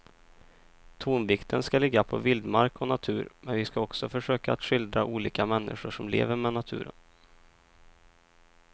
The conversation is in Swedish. Tonvikten ska ligga på vildmark och natur men vi ska också försöka att skildra olika människor som lever med naturen.